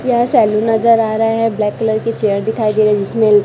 यह सैलून नजर आ रहा है ब्लैक कलर की चेयर दिखाई दे रही है जिसमें--